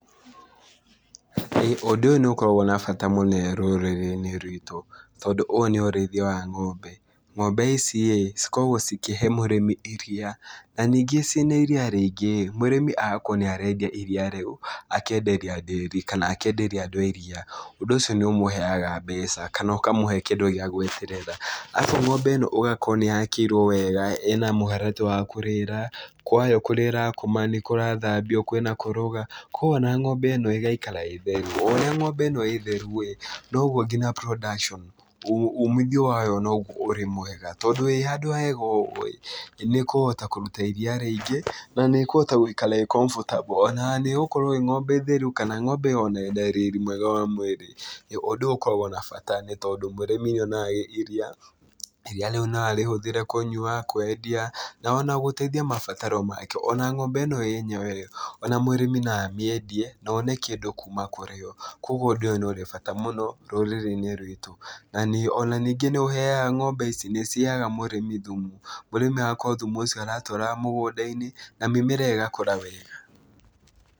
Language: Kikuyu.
Ũndũ ũyũ nĩũkoragwo na bata mũno rũrĩrĩ-inĩ rwitũ, tondũ ũyũ nĩ ũrĩithia wa ng'ombe, ng'ombe ici-ĩ cikoragwo cikĩhe mũrĩmi iria, na ningĩ ciĩna iria rĩingĩ-ĩ, mũrĩmi agakorwo nĩarendia iria rĩu, akenderia ndĩri kana akenderia andũ a iria, ũndũ ũcio nĩũmũheaga mbeca kana ũkamũhe kĩndũ gĩa gweterera. Akorwo ng'ombe ĩno ũgakora nĩyakĩirwo wega, ĩna mũharatĩ wa kũrĩra, kwayo kũrĩa ĩrakoma nĩkũrathambio, kwĩna koroga, kuoguo ona ng'ombe ĩno ĩgaikara ĩ theru. O ũrĩa ng'ombe ĩno ĩ theru-ĩ, noguo nginya production umithio wayo noguo ũrĩ mwega, tondũ wĩ handũ hega ũguo-ĩ, nĩĩkũhota kũruta iria rĩingĩ na nĩĩũhota gũikara ĩ comfortable, ona nĩĩgũkorwo ĩ ng'ombe theru kana ng'ombe ona ĩna riri mwega wa mwĩrĩ, nĩ ũndũ ũyũ ũkoragwo na bata nĩtondũ mĩrĩmi nĩonaga iria, iria rĩu no arĩhũthĩre kũnyua, kwendia, na ona gũteithia mabataro make, ona ng'ombe ĩno yenyewe ĩ ona mũrĩmi no amĩendie na one kĩndũ kuma kũrĩ yo, kuoguo ũndũ ũyũ nĩũrĩ bata mũno rũrĩrĩ-inĩ rwitũ na nĩ ona ningĩ nĩũhega ng'ombe ici nĩciheaga mũrĩmi thumu. Mũrĩmi agakorwo thumu ũcio aratwaraga mũgũnda-inĩ na mĩmera ĩgakũra wega.